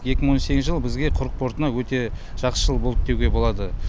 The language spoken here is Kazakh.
екі мың он сегізінші жыл бізге құрық портына өте жақсы жыл болды деуге болады